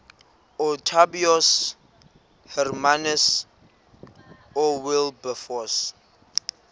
ootaaibos hermanus oowilberforce